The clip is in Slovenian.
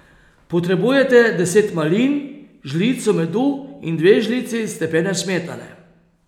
Potrebujete deset malin, žlico medu in dve žlici stepene smetane.